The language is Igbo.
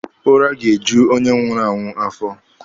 Ụra ga-eju onye nwụrụ anwụ afọ.